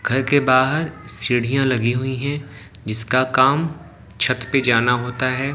घर के बाहर सीढ़ियां लगी हुई हैं जिसका काम छत पे जाना होता है।